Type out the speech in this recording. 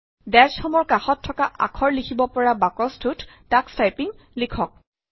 দাশ home dash home ৰ কাষত থকা আখৰ লিখিব পৰা বাকচটোত তোষ টাইপিং লিখক